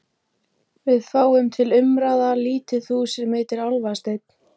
Við fáum til umráða lítið hús sem heitir Álfasteinn.